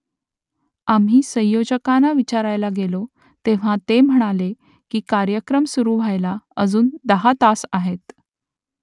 आम्ही संयोजकांना विचारायला गेलो तेव्हा ते म्हणाले की कार्यक्रम सुरू व्हायला अजून दहा तास आहेत